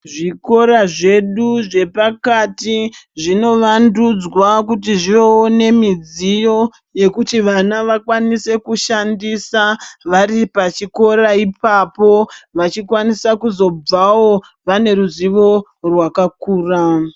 Zvikora zvedu zvapakati zvinovandudzwa kuti zvivewo nemidziyo yekuti vana vakwanise kushandisa vari pachikora ipapo vachikwanisa kuzobvawo vane ruzivo rwakakura.